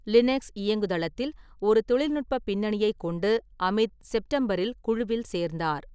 Linux இயங்குதளத்தில் ஒரு தொழில்நுட்ப பின்னணியைக் கொண்டு, அமித் செப்டம்பரில் குழுவில் சேர்ந்தார்.